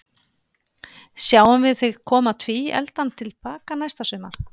Sjáum við þig koma tvíefldan til baka næsta sumar?